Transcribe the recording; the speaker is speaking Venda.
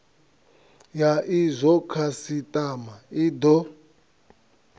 ha izwo khasitama i do